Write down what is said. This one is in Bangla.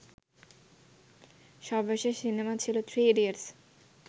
সর্বশেষ সিনেমা ছিলো থ্রি ইডিয়টস